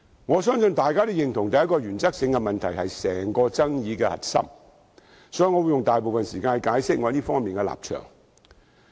我相信大家也認同，第一個原則性問題是整個爭議的核心，所以我會用大部分時間解釋我在這方面的立場。